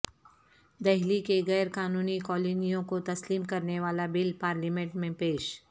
دہلی کی غیر قانونی کالونیوں کو تسلیم کرنے والا بل پارلیمنٹ میں پیش